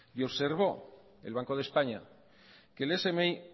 y observó el banco de españa